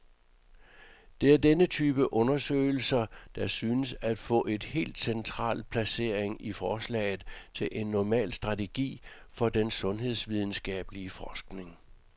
Det er denne type undersøgelser, der synes at få et helt central placering i forslaget til en normal strategi for den sundhedsvidenskabelig forskning.